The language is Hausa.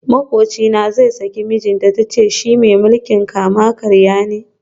Makwabcina zai saki mijinta, ta ce shi mai mulkin kama karya ne